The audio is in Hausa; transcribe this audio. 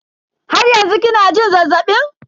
Har yanzu kina jin zazzabin?